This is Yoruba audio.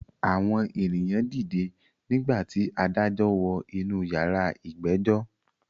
Àwọn èyàn dìde nígbà tí adájọ́ wọ inú yàrá ìgbẹ́jọ́.